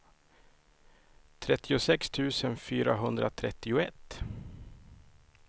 trettiosex tusen fyrahundratrettioett